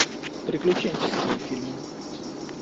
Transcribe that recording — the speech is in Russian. приключенческие фильмы